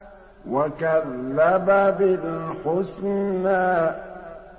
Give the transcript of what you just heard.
وَكَذَّبَ بِالْحُسْنَىٰ